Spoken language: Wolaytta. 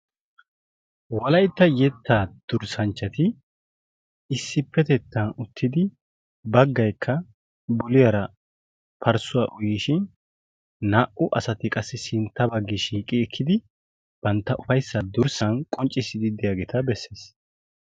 Wolaytta yetta durssanchchati issippetettan uttidi baggaykKa buliyaara parssuwa uyLyishin naa"u asati qassi sintta baggi shiiqo ekkidi bantta ufayssa durssan qonccisiiddi de'iyaageeta beessees.